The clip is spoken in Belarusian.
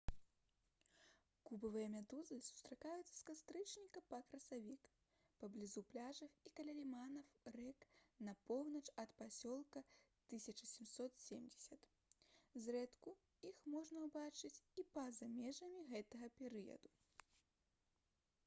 кубавыя медузы сустракаюцца з кастрычніка па красавік паблізу пляжаў і каля ліманаў рэк на поўнач ад пасёлка 1770 зрэдку іх можна ўбачыць і па-за межамі гэтага перыяду